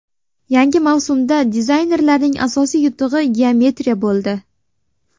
Yangi mavsumda dizaynerlarning asosiy yutug‘i geometriya bo‘ldi.